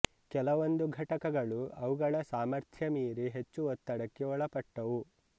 ಕೆಲವೊಂದು ಘಟಕಗಳು ಅವುಗಳ ಸಾಮರ್ಥ್ಯ ಮೀರಿ ಹೆಚ್ಚು ಒತ್ತಡಕ್ಕೆ ಒಳಪಟ್ಟವು